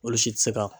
Olu si tɛ se ka